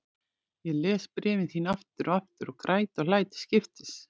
Ég les bréfin þín aftur og aftur og græt og hlæ til skiptis.